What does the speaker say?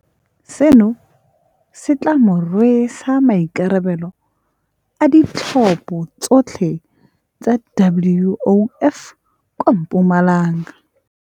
Seno se tla mo rwesa maikarabelo a ditlhopha tsotlhe tsa WOF kwa Mpumalanga.